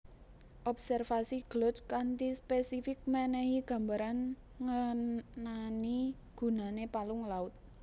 Observasi Glud kanthi spesifik menehi gambaran nngenani gunane palung laut